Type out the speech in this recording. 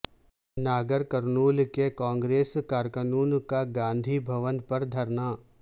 ناگرکرنول کے کانگریس کارکنوں کا گاندھی بھون پر دھرنا